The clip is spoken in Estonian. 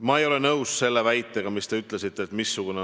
Valitsus garanteerib seda sellega, mis me oleme koalitsioonilepingus kirja pannud.